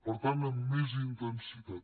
per tant amb més intensitat